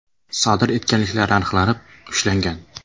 sodir etganliklari aniqlanib, ushlangan.